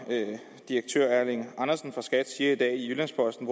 direktør erling andersen fra skat siger i dag i jyllands posten